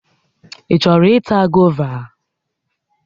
Ị chọrọ ịta gova?